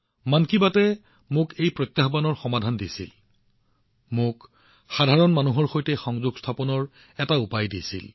মন কী বাতয়ে মোক এই প্ৰত্যাহ্বানৰ সমাধান দিছিল সাধাৰণ মানুহৰ সৈতে সংযোগ স্থাপনৰ এটা উপায় দিছিল